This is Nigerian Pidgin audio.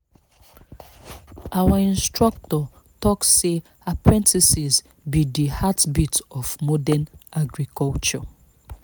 our instructor talk say apprentices be the heartbeat of modern agriculture